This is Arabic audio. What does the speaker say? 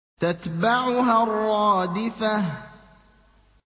تَتْبَعُهَا الرَّادِفَةُ